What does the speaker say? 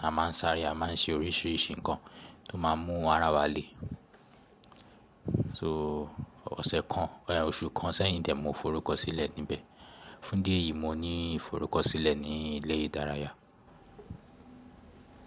a máa ń sáre, a máa ń ṣe oríṣiríṣi nǹkan tó máa ń mú ara wa le. So ọ̀sẹ̀ kan, bi oṣù kan sẹ́yìn die mo forúkọsílẹ̀ níbẹ̀. Fún dí eyìí, mo ní ìforúkọsílẹ̀ ní ilé ìdárayá.